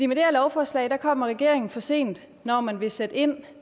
med det her lovforslag kommer regeringen for sent når man vil sætte ind